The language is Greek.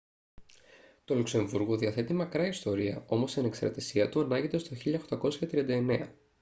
το λουξεμβούργο διαθέτει μακρά ιστορία όμως η ανεξαρτησία του ανάγεται στο 1839